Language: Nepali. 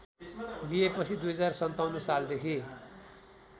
लिएपछि २०५७ सालदेखि